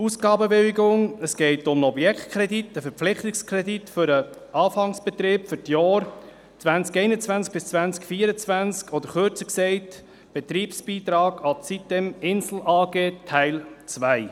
Ausgabenbewilligung: Es geht um einen Objektkredit, einen Verpflichtungskredit für den Anfangsbetrieb für die Jahre 2021–2024 oder, kürzer gesagt, um einen Betriebsbeitrag an die sitem-Insel AG, Teil 2.